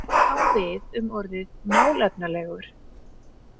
Þetta á við um orðið „málefnalegur“.